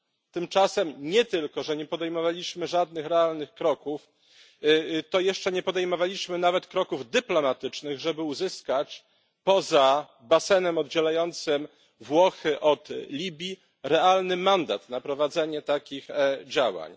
Tymczasem nie dość, że nie podejmowaliśmy żadnych realnych kroków, to jeszcze nie podejmowaliśmy nawet kroków dyplomatycznych, żeby uzyskać poza basenem oddzielającym Włochy od Libii realny mandat na prowadzenie takich działań.